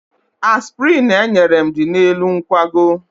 Aspịrịn enyere m dị n'elu nkwago.